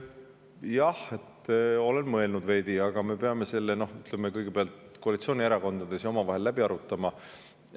Jah, olen veidi mõelnud, aga me peame selle kõigepealt koalitsioonierakondades omavahel läbi arutama.